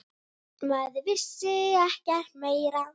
Maður vissi ekkert meira.